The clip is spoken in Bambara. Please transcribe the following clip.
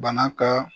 Bana ka